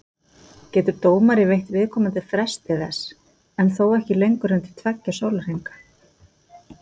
Getur dómari veitt viðkomandi frest til þess, en þó ekki lengur en til tveggja sólarhringa.